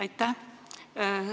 Aitäh!